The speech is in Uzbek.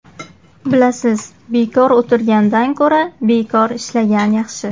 Bilasiz, bekor o‘tirgandan ko‘ra, bekor ishlagan yaxshi.